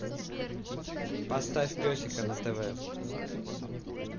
поставь песика на тв